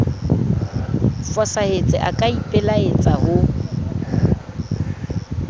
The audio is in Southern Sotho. fosahetse a ka ipelaetsa ho